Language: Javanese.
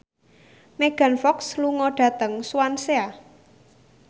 Megan Fox lunga dhateng Swansea